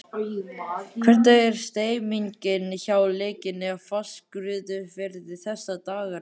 Hvernig er stemningin hjá Leikni Fáskrúðsfirði þessa dagana?